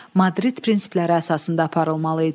Madrid prinsipləri əsasında aparılmalı idi.